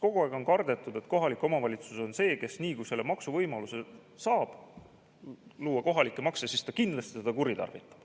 Kogu aeg on kardetud, et kohalik omavalitsus on see, kes, nii kui võimaluse saab luua kohalikke makse, seda kindlasti kuritarvitab.